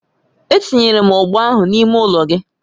Etinyere m ọgbọ ahụ n'ime ụlọ gị